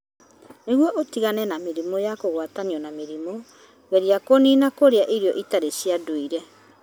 Nĩguo ũtigane na mĩrimũ ya kũgwatanio na mĩrimũ, geria kũniina kũrĩa irio itarĩ cia ndũire.